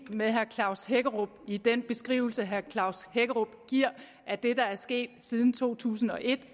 med herre klaus hækkerup i den beskrivelse herre klaus hækkerup giver af det der er sket siden to tusind og et